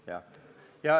Jah.